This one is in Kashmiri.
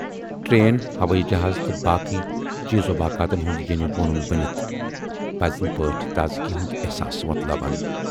ٹرین، ہوٲیی جہاز تہٕ بٲقٕے چیز واقعاتن ہُند ییٖنۍ وونُن بٔنِتھ پزنہٕ پٲٹھۍ تازِگی ہُند ایحساس وۅتلاوان۔